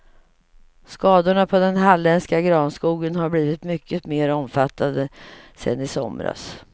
Skadorna på den halländska granskogen har blivit mycket mer omfattande sen i somras.